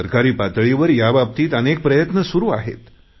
सरकारी पातळीवर याबाबतीत अनेक प्रयत्न सुरु आहेत